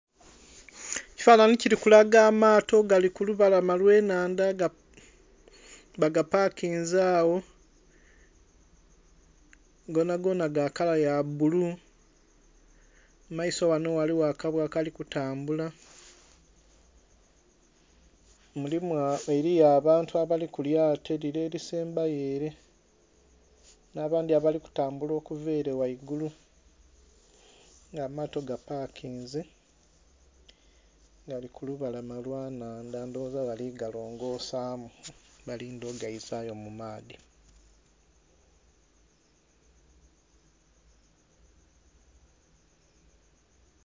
Ekifanhanhi kiri kulaga amaato gali kulubalama olwenhandha bagapakinze agho gonagona gakala yabbulu mumaiso wano ghaligho akabwa akalitambula, eriyo abantu abali kulyato lire erisembayo ere n'abandhi abalitambula okuva ere ghangulu nga amato gapakinze bali kulubalama lwenhandha ndhowooza bali galongosamu balindhe ogaizayo mumaadhi.